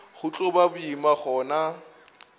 go tlo ba boima gona